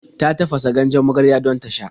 Ta tafasa ganjen magarya don ta sha.